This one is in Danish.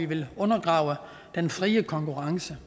ville undergrave den frie konkurrence